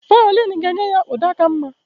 Vaịọlịn ga-enye ya ụda ka mma